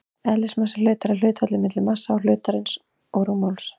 Eðlismassi hlutar er hlutfallið milli massa hlutarins og rúmmáls.